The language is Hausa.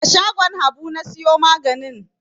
A shagon Habu na siyo maganin.